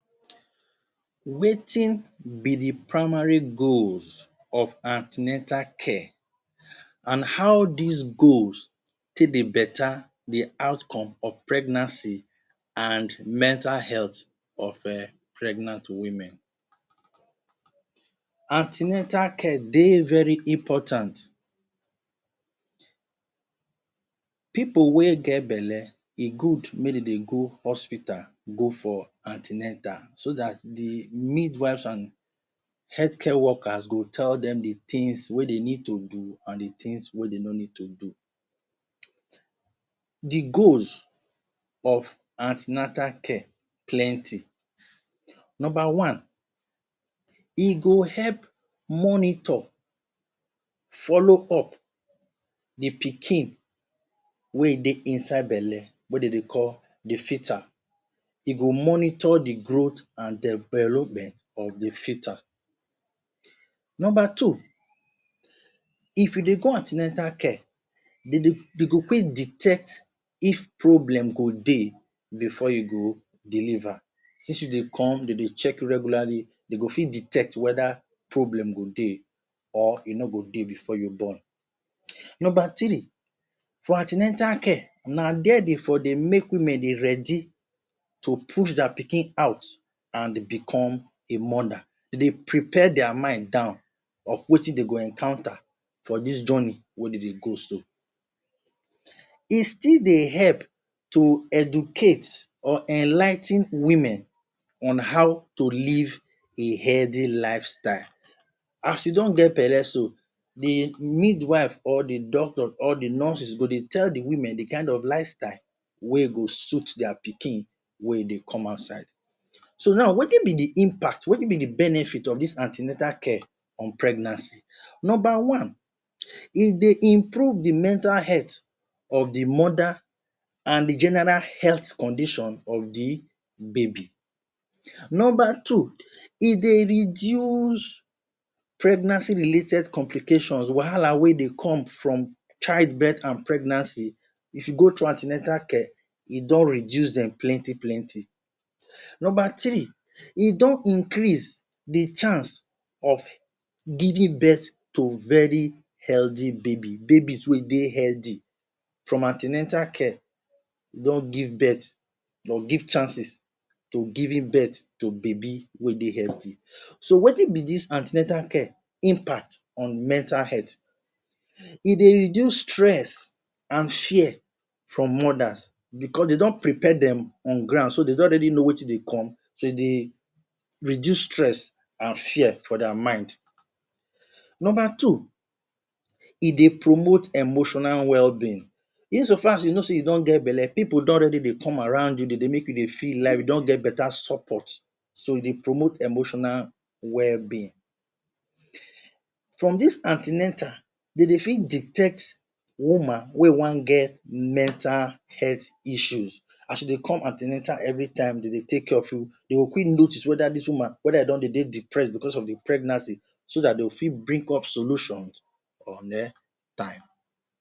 Wetin be di primary goals of an ten atal care and how dis goals take dey betta di outcomes of pregnancy and mental health of pregnant women. An ten atal care dey very important. Pipo wey get belle e good make dem dey go hospital go for an ten atal so dat di midwives, health care workers go tell dem di tins wey dem need to do and di tins wey you no need to do. Di goals of an ten atal care plenty. Number one, e go help monitor, follow up di pikin wey dey inside belle we dem dey call di foeta. E go monitor di growth and developmental or di foeta. Number two, if you dey go an ten atal care, dem go quick detect if problem go dey bifor you go deliver since you dey come dem go check regularly dem go fit detect weda problem go dey or e no go dey bifor you born. Number three, for an ten atal care na dia dem for dey make women ready to push dia pikin out and become a mother. Dem dey prepare dia mind down of wetin dem go encounter for dis journey wey dem dey go so. Is still dey help to educate or enligh ten women on how to live a healthy lifestyle. As you don get belle so, di midwive or di doctor or di nurses go dey tell di women di kind of lifestyle wey go suit dia pikin wen dey come outside. So now, wetin be di impact, wetin be di benefit of dis an ten atal care on pregnancy. Number one, e dey improve di mental health of di mother and di general health condition of di baby. Number two, e dey reduce pregnancy related complications wahala wey dey come from childbirth and pregnancy if you go through an ten atal care, e don reduce dem plenty plenty. Number three, e don increase di chance of giving birth to very healthy baby. Babies wey dey healthy from an ten atal you don give birth you go give chances to giving birth to baby wey dey healthy. So wetin be dis an ten atal care impact on mental health. E dey reduce stress and fear from mothers bicos dem don prepare dem on ground so dem don already know wetin dey come dey dey reduce stress and fear from dia mind. Number two, e dey promote emotional well-being, in so far as you know say you don get belle pipo don already dey come around you dem dey make you dey feel live you don get betta support so e dey promote emotional well-being. From dis an ten atal dey dey fit detect woman wey wan get mental health issues as you dey come an ten atal evri time dem dey take care of you dey go quick notice weda dis woman weda e don dey depressed bicos of di pregnancy so dat dem fit bring up solutions on time.